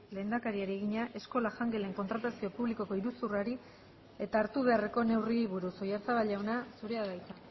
lehendakariari egina eskola jangelen kontratazio publikoko iruzurrari eta hartu beharreko neurriei buruz oyarzabal jauna zurea da hitza